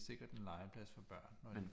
Er sikkert en legeplads for børn